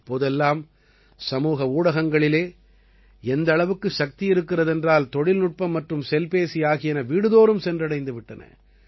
இப்போதெல்லாம் சமூக ஊடகங்களில் எந்த அளவுக்கு சக்தி இருக்கிறது என்றால் தொழில்நுட்பம் மற்றும் செல்பேசி ஆகியன வீடுதோறும் சென்றடைந்து விட்டன